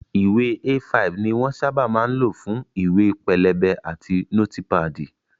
Ìwé A5 ni wón sábà máa ń lò fún ìwé pélébé àti nótípàdì